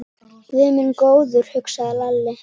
Guð minn góður, hugsaði Lalli.